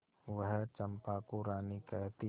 वह चंपा को रानी कहती